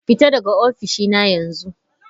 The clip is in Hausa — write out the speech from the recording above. Fita daga ofishina yanzu!